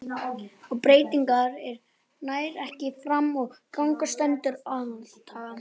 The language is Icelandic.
Ef breytingatillaga nær ekki fram að ganga stendur aðaltillaga.